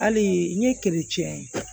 Hali n ye